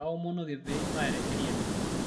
kaomonoki peibaya teseriani